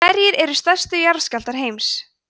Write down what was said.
hverjir eru stærstu jarðskjálftar heims